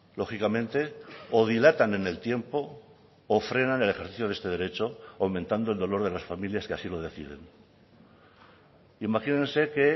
lógicamente o dilatan en el tiempo o frenan el ejercicio de este derecho aumentando el dolor de las familias que así lo deciden imagínense que